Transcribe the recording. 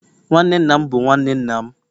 nwanne nna m bụ nwanne nna m